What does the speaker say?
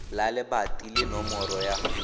la lebato le nomoro ya